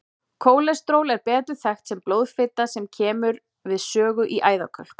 Kólesteról er betur þekkt sem blóðfita sem kemur við sögu í æðakölkun.